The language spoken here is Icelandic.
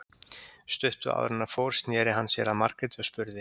Stuttu áður en hann fór sneri hann sér að Margréti og spurði